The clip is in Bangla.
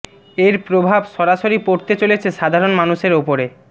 এর প্রভাব সরাসরি পড়তে চলেছে সাধারণ মানুষের উপরে